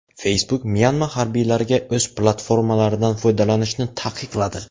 Facebook Myanma harbiylariga o‘z platformalaridan foydalanishni taqiqladi.